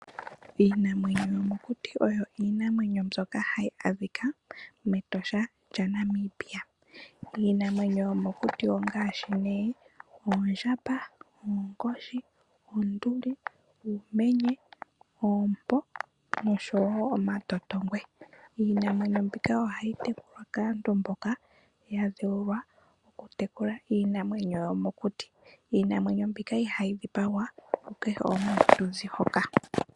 Iinamwenyo yomokuti oyo iinamwenyo mbyoka hayi adhika mEtosha lya Namibia. Iinamwenyo yomokuti ongaashi nee oondjamba, oonkoshi, oonduli, uumenye, oompo noshowo omatotongwe. Iinamwenyo mbika ohayi tekulwa kaantu mboka ya dheulwa okutekela iinamwenyo yomokuti. Iinamwenyo mbika ihayi dhipagwa ku kehe omuntu to zi hoka.